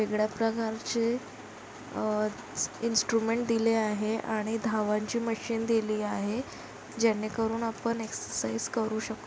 वेगळ्या प्रकारचे अ- इन्स्ट्रुमेट दिले आहे आणि धावांची मशीन दिली आहे. जेणे करून आपण एक्ससाइज करू शक--